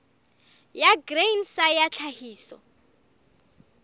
ya grain sa ya tlhahiso